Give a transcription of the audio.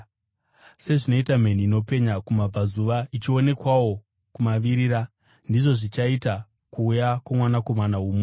Sezvinoita mheni inopenya kumabvazuva ichionekwawo kumavirira, ndizvo zvichaita kuuya kwoMwanakomana woMunhu.